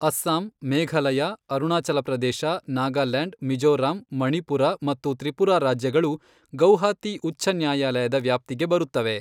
ಅಸ್ಸಾಂ ಮೇಘಲಯ ಅರುಣಾಚಲ ಪ್ರದೇಶ ನಾಗಾಲ್ಯಾಂಡ್ ಮಿಜೋರಾಂ ಮಣಿಪುರ ಮತ್ತು ತ್ರಿಪುರಾ ರಾಜ್ಯಗಳು ಗೌಹಾತಿ ಉಚ್ಛನ್ಯಾಯಾಲಯದ ವ್ಯಾಪ್ತಿಗೆ ಬರುತ್ತವೆ.